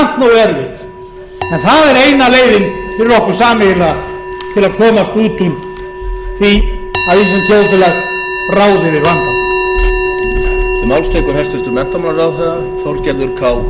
er eina leiðin fyrir okkur sameiginlega til þess að komast út úr því að íslenskt þjóðfélag ráði við vandann